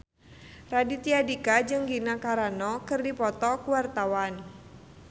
Raditya Dika jeung Gina Carano keur dipoto ku wartawan